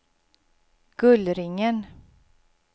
Gullringen